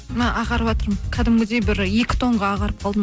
ағарватырмын кәдімгідей бір екі тонға ағарып қалдым